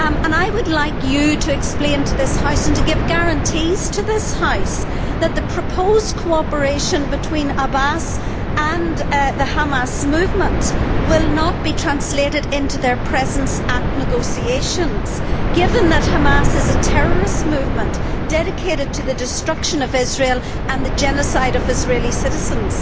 I would like you to explain to this House, and to give guarantees to this House, that the proposed cooperation between Abbas and the Hamas movement will not be translated into their presence at negotiations, given that Hamas is a terrorist movement, dedicated to the destruction of Israel and the genocide of Israeli citizens.